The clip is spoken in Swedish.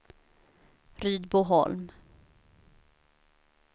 Rydboholm